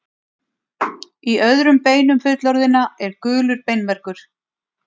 Í öðrum beinum fullorðinna er gulur beinmergur.